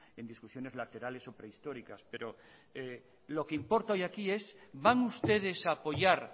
en discusiones laterales o prehistóricas pero lo que importa hoy aquí es van ustedes a apoyar